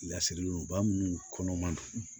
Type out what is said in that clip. Lasirilen don ba minnu kɔnɔ man don